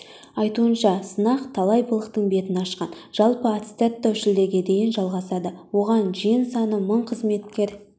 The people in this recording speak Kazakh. айтуынша сынақ талай былықтың бетін ашқан жалпы аттестаттау шілдеге дейін жалғасады оған жиын саны мың қызметкер